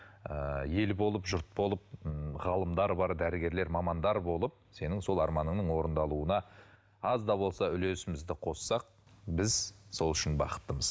ы ел болып жұрт болып м ғалымдар бар дәрігерлер мамандар болып сол сенің арманыңның орындалуына аз да болса үлесімізді қоссақ біз сол үшін бақыттымыз